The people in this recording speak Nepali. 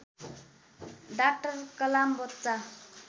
डाक्टर कलाम बच्चा